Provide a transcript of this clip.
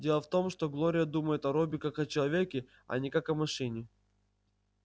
дело в том что глория думает о робби как о человеке а не как о машине